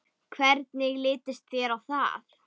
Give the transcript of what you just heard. Hvernig litist þér á það?